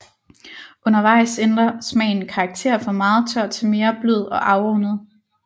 Undervejs ændrer smagen karakter fra meget tør til mere blød og afrundet